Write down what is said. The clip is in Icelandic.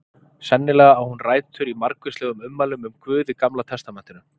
sennilega á hún rætur í margvíslegum ummælum um guð í gamla testamentinu